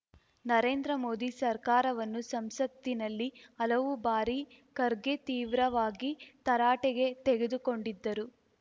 ನರೇಂದ್ರಮೋದಿ ಸರ್ಕಾರವನ್ನು ಸಂಸತ್ತಿನಲ್ಲಿ ಹಲವು ಬಾರಿ ಖರ್ಗೆ ತೀವ್ರವಾಗಿ ತರಾಟೆಗೆ ತೆಗೆದುಕೊಂಡಿದ್ದರು